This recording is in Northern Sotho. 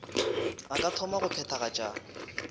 a ka thoma go phethagatša